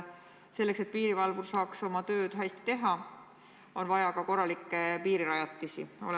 Selleks, et piirivalvur saaks oma tööd hästi teha, on vaja korralikke piirirajatisi.